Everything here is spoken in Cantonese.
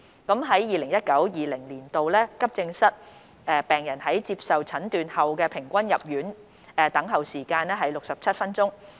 在 2019-2020 年度，急症室病人在接受診斷後的平均入院等候時間為約67分鐘。